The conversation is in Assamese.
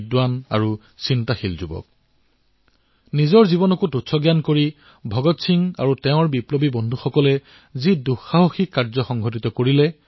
এনে শক্তিশালী শাসকে এজন ২৩ বছৰীয়া যুৱকৰ ভয়ত কঁপি উঠিছিল